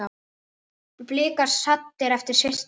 Blikar saddir eftir fyrsta róður?